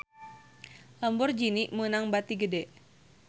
Lamborghini meunang bati gede